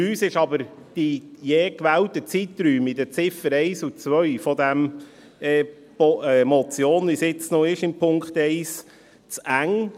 Für uns sind aber die je gewählten Zeiträume in den Ziffern 1 und 2 – Punkt 1 ist jetzt noch eine Motion – zu eng.